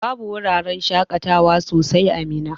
Babu wuraran shaƙatawa sosai a Minna.